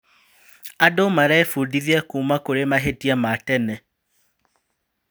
Andũ marebundithia kuuma kũrĩ mahĩtia ma tene.